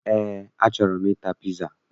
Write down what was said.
Eé, achọrọ m ịta piza